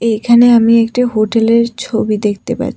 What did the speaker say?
এইখানে আমি একটি হোটেলের ছবি দেখতে পাছ--